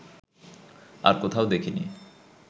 আর কোথাও দেখিনি